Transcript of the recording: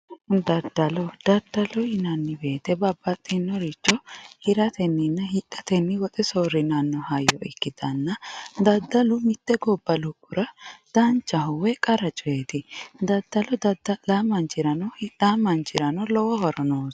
daddalo daaddalo yinanni woyiite babbaxinoricho hirateninna hixxate woxe soorina hayyo ikkitanna daddalu mitte gobba lophora danchaho woy qara coyiiti daddalo daddallawo manchirano hixaa mannchirano lowo horo noosi